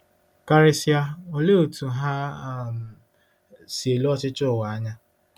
Karịsịa, olee otú ha um si ele ọchịchị ụwa anya? '